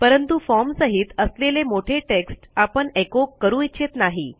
परंतु फॉर्म सहित असलेले मोठे टेक्स्ट आपण एचो करू इच्छित नाही